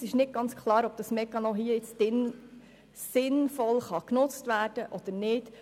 Uns ist nicht ganz klar, ob dieser Mechanismus hier sinnvoll genutzt werden kann oder nicht.